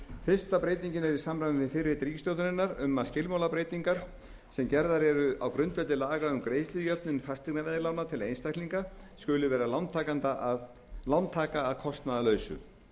fyrsta breytingin er í samræmi við fyrirheit ríkisstjórnarinnar um að skilmálabreytingar sem gerðar eru á grundvelli laga um greiðslujöfnun fasteignaveðlána til einstaklinga skuli vera lántaka að kostnaðarlausu